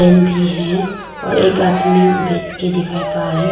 भी है और एक आदमी बैठ के दिखाई पा रहे --